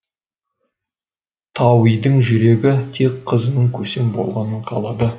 тауидың жүрегі тек қызының көсем болғанын қалады